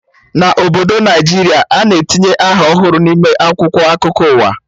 Na Obodo Naijiria, a na-etinye aha ọhụrụ n'ime akwụkwọ akụkọ ụwa